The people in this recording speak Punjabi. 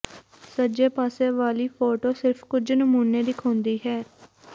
ਸੱਜੇ ਪਾਸੇ ਵਾਲੀ ਫੋਟੋ ਸਿਰਫ ਕੁਝ ਨਮੂਨੇ ਦਿਖਾਉਂਦੀ ਹੈ